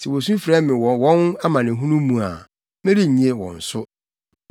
sɛ wosu frɛ me wɔ wɔn amanehunu mu a merennye wɔn so.